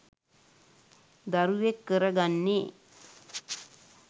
දරුවෙක් කර ගන්නේ.